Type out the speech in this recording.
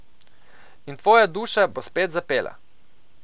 In tvoja duša bo spet zapela.